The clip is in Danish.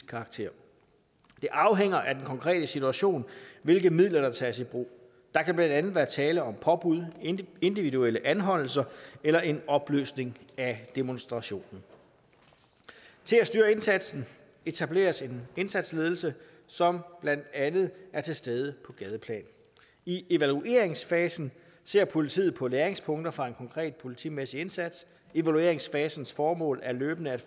karakter det afhænger af den konkrete situation hvilke midler der tages i brug der kan blandt andet være tale om påbud individuelle anholdelser eller en opløsning af demonstrationen til at styre indsatsen etableres en indsatsledelse som blandt andet er til stede på gadeplan i evalueringsfasen ser politiet på læringspunkter fra en konkret politimæssig indsats evalueringsfasens formål er løbende